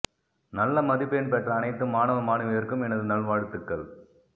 நல்ல மதிப்பெண் பெற்ற அணைத்து மாணவ மானவியர்க்கும் எனது நல்வாழ்த்துக்கள்